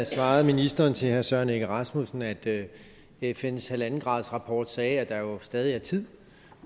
svarede ministeren til herre søren egge rasmussen at at fns halvandengradsrapport sagde at der jo stadig er tid